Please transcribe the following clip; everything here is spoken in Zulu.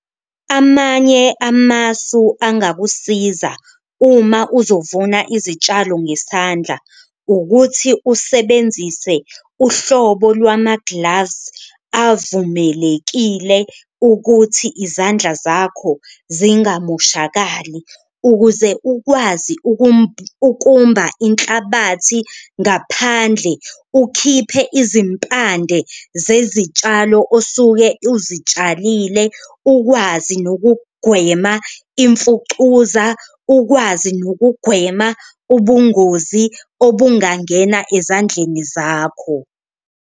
Amanye amasu angakusiza uma uzovuna izitshalo ngesandla ukuthi usebenzise uhlobo lwama-gloves avumelekile ukuthi izandla zakho zingamoshakali, ukuze ukwazi ukumba inhlabathi ngaphandle, ukhiphe izimpande zezitshalo osuke uzitshalile. Ukwazi nokugwema imfucuza, ukwazi nokugwema ubungozi obungangena ezandleni zakho.